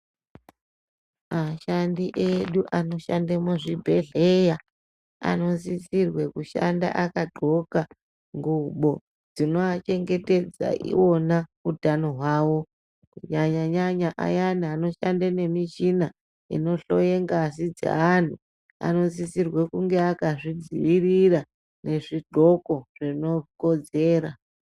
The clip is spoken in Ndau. Ashandi edu anoshande muzvibhedhleya anosisirwe kushanda akadxoka ngubo dzinoachengetedza iwona utano hwawo. Kunyanya nyanya ayani anoshanda nemichina inohloye ngazi dzeanhu anosise kunge akazvidziirira nezvidxoko zvinokodzera.